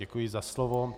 Děkuji za slovo.